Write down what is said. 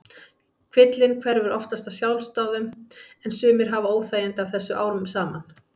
Kvillinn hverfur oftast af sjálfsdáðum en sumir hafa óþægindi af þessu árum saman.